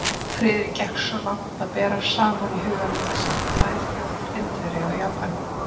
Friðrik gekk svo langt að bera saman í huganum þessar tvær þjóðir, Indverja og Japani.